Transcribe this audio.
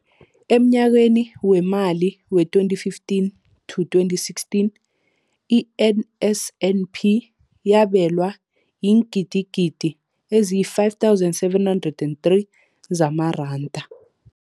Emnyakeni weemali we-2015 to 2016, i-NSNP yabelwa iingidigidi ezi-5 703 zamaranda.